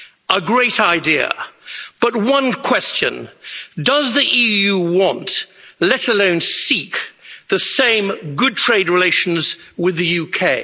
A great idea, but one question does the EU want, let alone seek, the same good trade relations with the